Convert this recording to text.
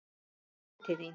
Kíkjum inn til þín